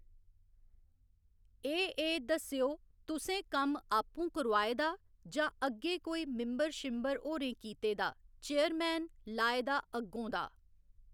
एह् एह् दस्सेओ तुसें कम्म आपूं करोआए दा जां अग्गें कोई मिंबर शिंबर होरें कीते दा चेयरमैन लाए दा अग्गों दा